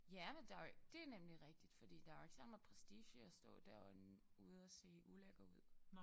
Ja men der jo det nemlig rigtigt fordi der jo ikke særlig meget prestige i at stå dér og ude og se ulækker ud